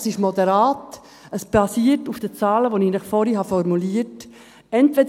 Es ist moderat, es basiert auf den Zahlen, die ich zuvor formuliert habe.